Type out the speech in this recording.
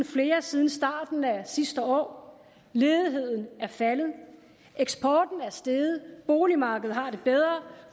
flere siden starten af sidste år ledigheden er faldet eksporten er steget boligmarkedet har det bedre